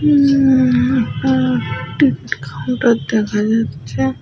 উম একটা ticket counter দেখা যাচ্ছে।